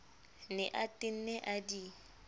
ne a tenne a di